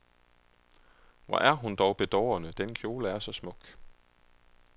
Hvor er hun dog bedårende, den kjole er så smuk.